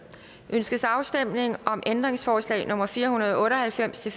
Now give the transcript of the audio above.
ønskes afstemning om ændringsforslag nummer fire hundrede og otte og halvfems til